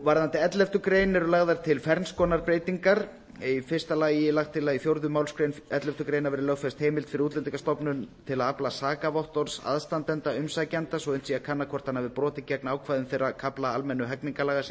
varðandi elleftu greinar eru lagðar til ferns konar breytingar er í fyrsta lagi lagt til að í fjórðu málsgrein elleftu grein verði lögfest heimild fyrir útlendingastofnun til að afla sakavottorðs aðstandanda umsækjanda svo unnt sé að kanna hvort hann hafi brotið gegn ákvæðum þeirra kafla almennra hegningarlaga sem